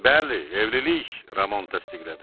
Bəli, evlilik, Ramon təsdiqlədi.